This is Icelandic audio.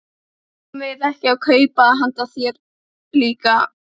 Guð veri þá með okkur öllum.